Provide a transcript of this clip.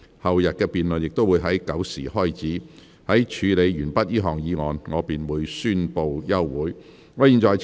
後天的辯論亦會在上午9時開始，在處理完畢這項議案後，我便會宣布休會。